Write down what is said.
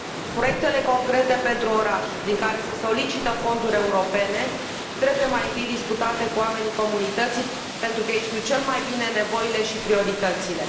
Proiectele concrete pentru orașe, prin care se solicită fonduri europene, trebuie, mai întâi, discutate cu oamenii comunității, pentru că ei știu cel mai bine nevoile și prioritățile.